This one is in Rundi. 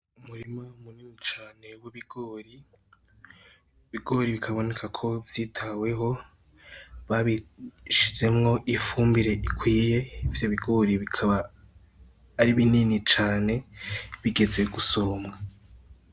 Umurima munini cane w'ibigori, ibigori bikaboneka ko vyitaweho, babishizemwo ifumbire ikwiye, ivyo bigori bikaba ari binini cane, bigeze gusoromwa.